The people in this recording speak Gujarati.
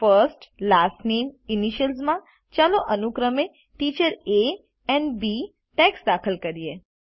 firstલાસ્ટ nameઇનિશિયલ્સ માં ચાલો અનુક્રમે teacher A and B text દાખલ કરીએ